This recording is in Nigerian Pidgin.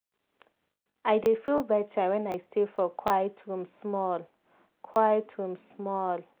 i dey feel better when i stay for quiet room small. quiet room small.